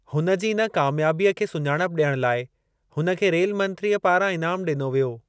हुन जी इन कामयाबीअ खे सुञाणप ॾियण लाइ हुन खे रेल मंत्रीअ पारां इनाम ॾिनो वियो।